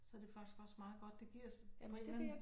Så det faktisk også meget godt. Det giver på en eller anden